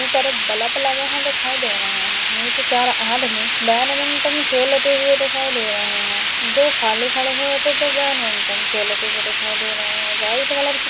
ऊपर बलप लगे है दिखाई दे रहे है नीचे चार आदमी बेनमिंटन खेलते हुए दिखाई दे रहे हैं दो खाली खड़े हुए तो दो बेनमिंटन खलते हुए दिखाई दे रहे है वाइट कलर की --